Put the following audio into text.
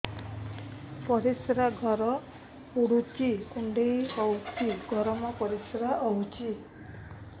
ପରିସ୍ରା ଘର ପୁଡୁଚି କୁଣ୍ଡେଇ ହଉଚି ଗରମ ପରିସ୍ରା ହଉଚି